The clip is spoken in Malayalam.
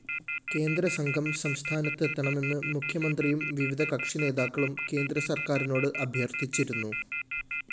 കേന്ദ്രസംഘം സംസ്ഥാനത്ത് എത്തണമെന്ന് മുഖ്യമന്ത്രിയും വിവിധ കക്ഷിനേതാക്കളും കേന്ദ്രസര്‍ക്കാരിനോട് അഭ്യര്‍ത്ഥിച്ചിരുന്നു